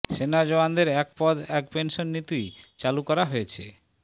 সেনা জওয়ানদের এক পদ এক পেনশন নীতি চালু করা হয়েছে